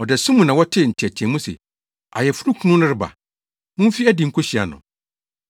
“Ɔdasu mu na wɔtee nteɛteɛmu se, ‘Ayeforokunu no reba! Mumfi adi nkohyia no!’